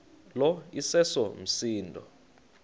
lo iseso msindo